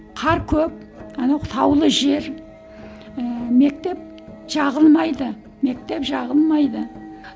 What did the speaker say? қар көп анау таулы жер ііі мектеп жағылмайды мектеп жағылмайды